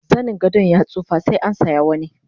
zanin gadon ya tsufa sai an saya sabo